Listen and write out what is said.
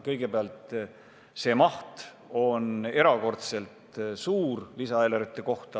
Kõigepealt, see maht on lisaeelarve kohta erakordselt suur.